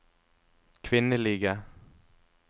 kvinnelige